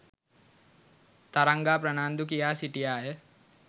තරංගා ප්‍රනාන්දු කියා සිටියාය.